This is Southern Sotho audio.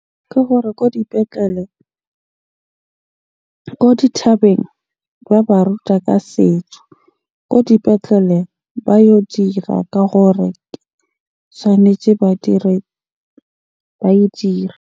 Ke gore ko dipetlele, ko dithabeng ba ba ruta ka setso. Ko dipetlele ba yo dira ka gore tshwanetje ba dire, ba e dira.